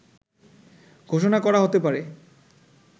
ঘোষণা করা হতে পারে